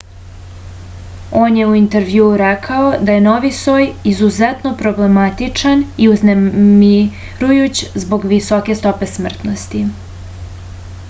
on je u intervjuu rekao da je novi soj izuzetno problematičan i uznemirujuć zbog visoke stope smrtnosti